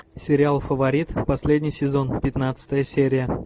сериал фаворит последний сезон пятнадцатая серия